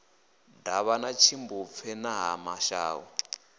davhana tshimbupfe na ha mashau